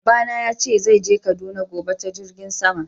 Baba na ya ce zai je Kaduna gobe ta Jirngin sama.